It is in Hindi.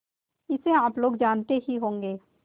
इसे आप लोग जानते ही होंगे